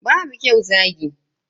Babu kyau zagi.